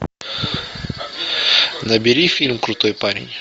набери фильм крутой парень